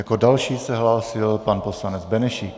Jako další se hlásil pan poslanec Benešík.